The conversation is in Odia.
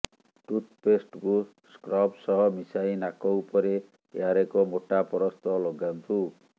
ଟୁଥପେଷ୍ଟକୁ ସ୍କ୍ରବ୍ ସହ ମିଶାଇ ନାକ ଉପରେ ଏହାର ଏକ ମୋଟା ପରସ୍ତ ଲଗାନ୍ତୁ